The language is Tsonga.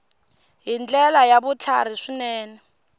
hi ndlela ya vutlhari swinene